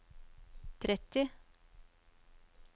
tretti